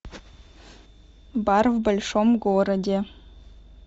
бар в большом городе